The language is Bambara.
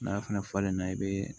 N'a fana falenna i bɛ